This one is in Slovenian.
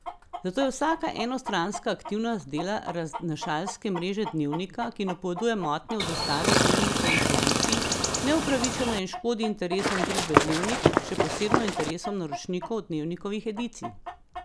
Zato je vsaka enostranska aktivnost dela raznašalske mreže Dnevnika, ki napoveduje motnje v dostavi Dnevnikovih edicij, neupravičena in škodi interesom družbe Dnevnik, še posebno interesom naročnikov Dnevnikovih edicij.